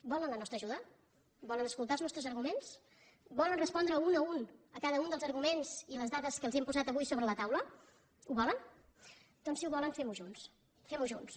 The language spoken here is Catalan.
volen la nostra ajuda volen escoltar els nostres arguments volen respondre un per un a cada un dels arguments i les dades que els hem posat avui sobre la taula ho volen doncs si ho volen fem ho junts fem ho junts